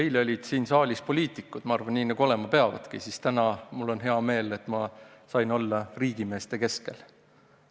Eile olid siin saalis poliitikud – ma arvan nii, nagu see olema peabki –, seevastu täna on mul hea meel tõdeda, et sain olla riigimeeste keskel.